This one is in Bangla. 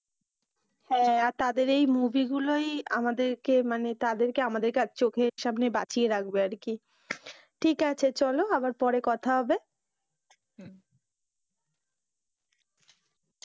হ্যাঁ তাদের এই movie গুলোই আমাদের কে মানে, তাদেরকে আমাদের চোখের সামনে বাঁচিয়ে রাখবে আর কি, ঠিক আছে চলো আবার পরে কথা হবে।